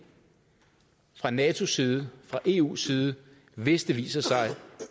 fra natos side fra eus side hvis det viser sig